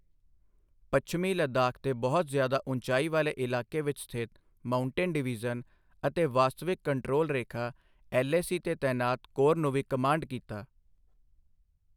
ਪੱਛਮੀ ਲੱਦਾਖ ਦੇ ਬਹੁਤ ਜਿਆਦਾ ਉਚਾਈ ਵਾਲੇ ਇਲਾਕੇ ਵਿੱਚ ਸਥਿਤ ਮਾਊਂਟੇਨ ਡਿਵੀਜ਼ਨ ਅਤੇ ਵਾਸਤਵਿਕ ਕੰਟਰੋਲ ਰੇਖਾ ਐੱਲ ਏ ਸੀ ਤੇ ਤੈਨਾਤ ਕੋਰ ਨੂੰ ਵੀ ਕਮਾਂਡ ਕੀਤਾ।